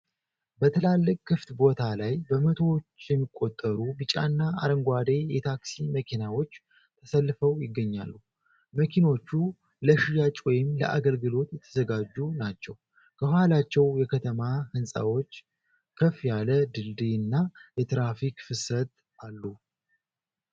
በትላልቅ ክፍት ቦታ ላይ፣ በመቶዎች የሚቆጠሩ ቢጫና አረንጓዴ የታክሲ መኪናዎች ተሰልፈው ይገኛሉ። መኪኖቹ ለሽያጭ ወይም ለአገልግሎት የተዘጋጁ ናቸው። ከኋላቸው የከተማ ሕንፃዎች፣ ከፍ ያለ ድልድይና የትራፊክ ፍሰት አሉ።